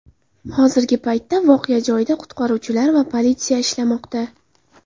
Hozirgi paytda voqea joyida qutqaruvchilar va politsiya ishlamoqda.